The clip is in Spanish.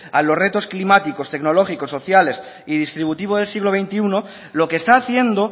a los retos climáticos tecnológicos sociales y distributivos del siglo veintiuno lo que está haciendo